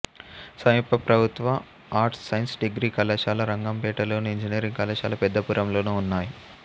సమీప ప్రభుత్వ arts science degree కళాశాల రంగంపేటలోను ఇంజనీరింగ్ కళాశాల పెద్దాపురంలోనూ ఉన్నాయి